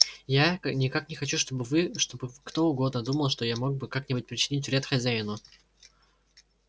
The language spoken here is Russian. я никак не хочу чтобы вы чтобы кто угодно думал что я мог бы как-нибудь причинить вред хозяину